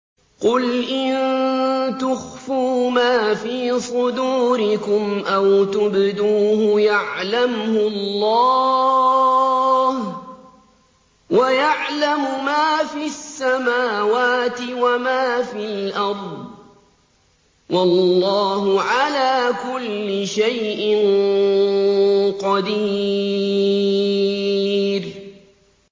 قُلْ إِن تُخْفُوا مَا فِي صُدُورِكُمْ أَوْ تُبْدُوهُ يَعْلَمْهُ اللَّهُ ۗ وَيَعْلَمُ مَا فِي السَّمَاوَاتِ وَمَا فِي الْأَرْضِ ۗ وَاللَّهُ عَلَىٰ كُلِّ شَيْءٍ قَدِيرٌ